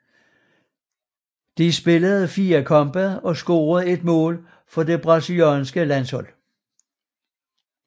Han spillede fire kampe og scorede ét mål for det brasilianske landshold